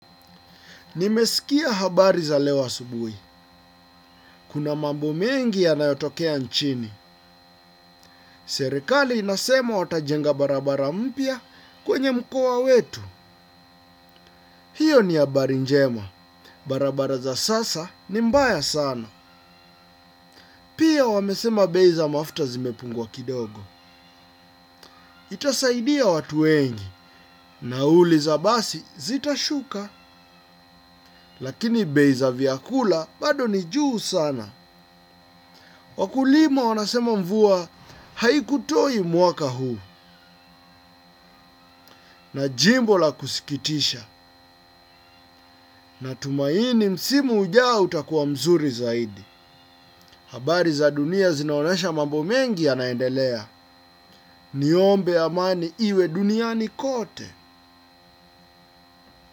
Nimesikia habari za leo asubuhi. Kuna mambo mengi yanayotokea nchini. Serikali inasema watajenga barabara mpya kwenye mkoa wetu. Hiyo ni habari njema. Barabara za sasa ni mbaya sana. Pia wamesema bei za mafuta zimepungua kidogo. Itasaidia watu wengi. Nauliza basi zitashuka? Lakini bei za vyakula bado ni juu sana. Wakulima wanasema mvua haikutoi mwaka huu na jimbo la kusikitisha natumaini msimu ujao utakuwa mzuri zaidi. Habari za dunia zinaonesha mambo mengi yanaendelea. Niombe amani iwe duniani kote.